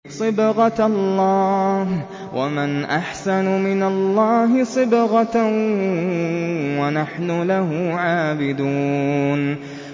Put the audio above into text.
صِبْغَةَ اللَّهِ ۖ وَمَنْ أَحْسَنُ مِنَ اللَّهِ صِبْغَةً ۖ وَنَحْنُ لَهُ عَابِدُونَ